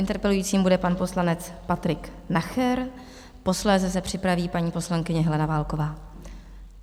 Interpelujícím bude pan poslanec Patrik Nacher, posléze se připraví paní poslankyně Helena Válková.